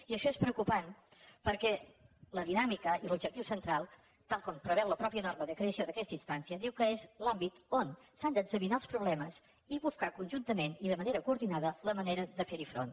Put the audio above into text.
i això és preocupant perquè la dinàmica i l’objectiu central tal com preveu la mateixa norma de creació d’aquesta instància diu que és l’àmbit on s’han d’examinar els problemes i buscar conjuntament i de manera coordinada la manera de fer hi front